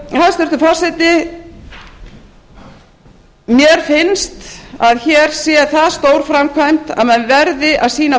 hæstvirtur forseti mér finnst að hér sé það stór framkvæmd að menn verði að sýna